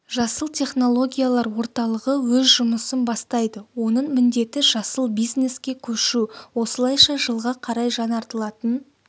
жасыл технологиялар орталығы өз жұмысын бастайды оның міндеті жасыл бизнеске көшу осылайша жылға қарай жаңартылатын